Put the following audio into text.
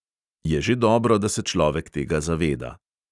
Je že dobro, da se človek tega zaveda.